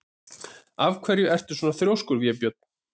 Af hverju ertu svona þrjóskur, Vébjörn?